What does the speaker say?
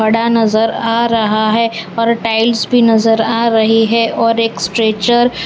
पड़ा नजर आ रहा है और टाइल्स भी आ रही है और एक स्ट्रेचर ।